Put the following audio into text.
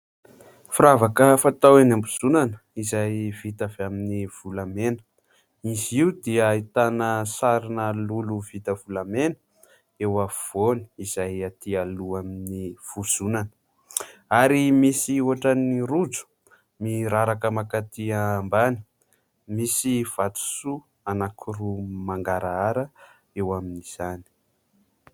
Firavaka fatao eny am-bozonana izay vita avy amin'ny volamena. Izy io dia ahitana sarina lolo vita volamena eo afovoany izay aty aloha amin'ny vozonana ary misy ohatra ny rojo miraraka mankaty ambany, misy vatosoa anankiroa mangarahara eo amin'izany.